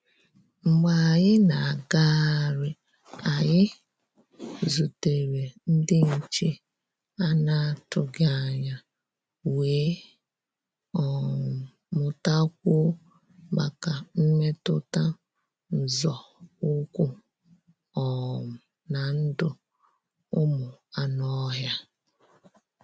Mgbé ànyị́ ná-àgáhárí, ànyị́ zútèré ndí nché à nà-àtụghí ányá, wéé um mụ́tá kwúó máká mmétụ́tá nzọ́ ụ́kwụ́ um ná ndụ́ ụ́mụ́ ànụ́-ọ́hịá.